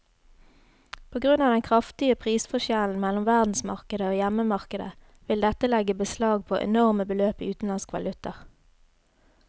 På grunn av den kraftige prisforskjellen mellom verdensmarkedet og hjemmemarkedet vil dette legge beslag på enorme beløp i utenlandsk valuta.